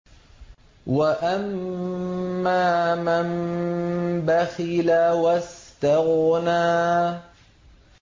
وَأَمَّا مَن بَخِلَ وَاسْتَغْنَىٰ